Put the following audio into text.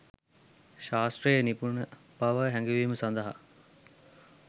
ශාස්ත්‍රයෙහි නිපුණබව හැඟවීම සඳහා